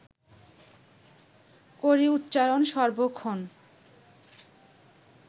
করি উচ্চারণ সর্বক্ষণ